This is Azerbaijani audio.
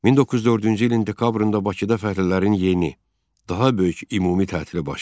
1904-cü ilin dekabrında Bakıda fəhlələrin yeni, daha böyük ümumi tətili baş verdi.